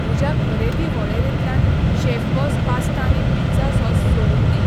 म्हज्या खरेदी वळेरेंतल्यान शेफबॉस पास्ता आनी पिझ्झा सॉस सोडून दी.